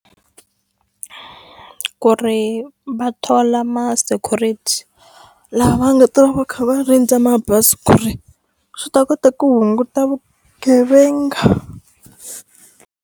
Ku ri va thola ma-security lava va nga ta va va kha va rindza mabazi ku ri swi ta kota ku hunguta vugevenga.